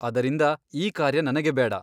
ಅದರಿಂದ ಈ ಕಾರ್ಯ ನನಗೆ ಬೇಡ.